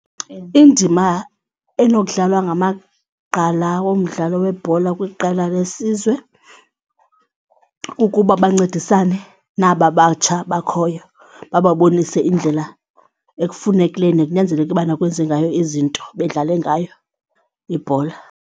Indima enokudlalwa ngamagqala womdlalo webhola kwiqela lesizwe kukuba bancedisane naba batsha bakhoyo bababonise indlela ekufunekileyo nekunyanzelekileyo ubana kwenziwe ngayo izinto bedlale ngayo ibhola.